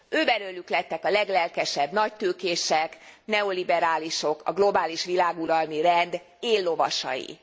Őbelőlük lettek a leglelkesebb nagytőkések, neoliberálisok, a globális világuralmi rend éllovasai.